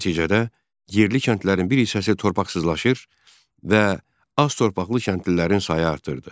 Nəticədə yerli kəndlərin bir hissəsi torpaqsızlaşır və az torpaqlı kəndlilərin sayı artırdı.